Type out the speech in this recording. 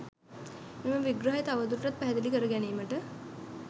මෙම විග්‍රහය තවදුරටත් පැහැදිලි කර ගැනීමට